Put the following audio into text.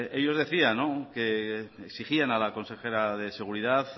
ellos decían que exigían a la consejera de seguridad